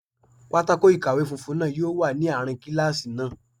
Pátákó ikowe funfun náà yóò wà ní àárín kíláàsì náà